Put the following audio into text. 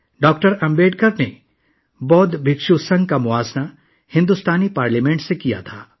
doctor Ambedkar نے بودھ بھکشو یونین کا موازنہ بھارتی پارلیمنٹ سے کیا تھا